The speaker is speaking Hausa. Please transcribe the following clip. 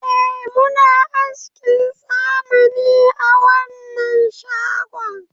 Eh muna askin zamani a wanan shagon